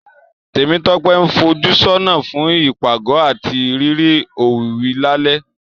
Tèmítọ́pẹ́ ń fojúsọ́nà fún ìpàgọ́ àti rírí òwìwí lálẹ́